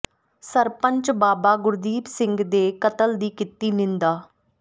ਸਰਪੰਚ ਬਾਬਾ ਗੁਰਦੀਪ ਸਿੰਘ ਦੇ ਕਤਲ ਦੀ ਕੀਤੀ ਨਿੰਦਾ